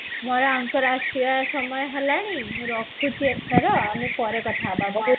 ମୋର ୟାଙ୍କର ଆସିବାର ସମୟ ହେଲାଣି ମୁଁ ରଖୁଛି ଏଥର ଆମେ ପରେ କଥା ହବା